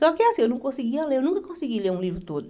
Só que, assim, eu não conseguia ler, eu nunca consegui ler um livro todo.